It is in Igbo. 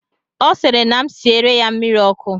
ọ sịrị na m siere ya mmiri ọkụ